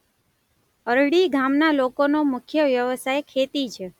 અરડી ગામના લોકોનો મુખ્ય વ્યવસાય ખેતી છે.